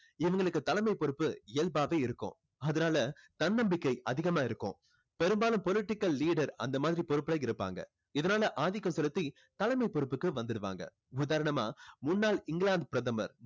இவங்களுக்கு தலைமை பொறுப்பு இயல்பாவே இருக்கும். அதனால தன்னம்பிக்கை அதிகமா இருக்கும். பெரும்பாலும் political leader அந்த மாதிரி பொறுப்புல இருப்பாங்க. இதனால ஆதிக்கம் செலுத்தி தலைமை பொறுப்புக்கு வந்துருவாங்க. உதாரணமா முன்னாள் இங்கிலாந்து பிரதமர்